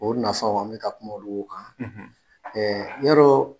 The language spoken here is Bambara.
O nafaw a bɛ ka kuma olu kan; ; yarɔ